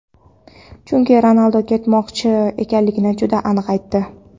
chunki Ronaldu ketmoqchi ekanligini juda aniq aytdi.